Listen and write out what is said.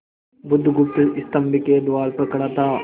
बुधगुप्त स्तंभ के द्वार पर खड़ा था